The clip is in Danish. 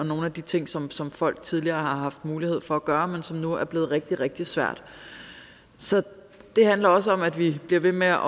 nogle af de ting som som folk tidligere har haft mulighed for at gøre men som nu er blevet rigtig rigtig svært så det handler også om at vi bliver ved med